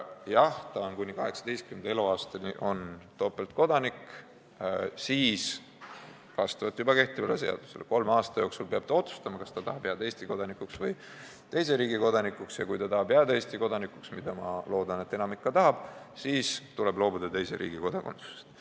Jah, ta on kuni 18. eluaastani topeltkodanik, aga siis vastavalt juba kehtivale seadusele peab ta kolme aasta jooksul otsustama, kas ta tahab jääda Eesti kodanikuks või mingi teise riigi kodanikuks, ja kui ta tahab jääda Eesti kodanikuks – mida ma loodan, et enamik ka tahab –, siis tuleb tal teise riigi kodakondsusest loobuda.